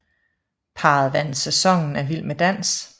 Parret vandt sæsonen af Vild med dans